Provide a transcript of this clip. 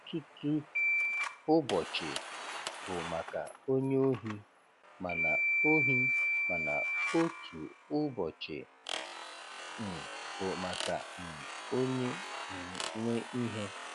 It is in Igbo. Òtūtū úbòchì bụ maka ónyè óhì, mana óhì, mana ótù úbòchì um bụ maka um ónyè um nwe íhè.